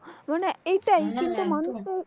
মানে এইটাই কিন্তু মানুষত